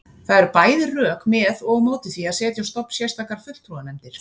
Það eru bæði rök með og á móti því að setja á stofn sérstakar fulltrúanefndir.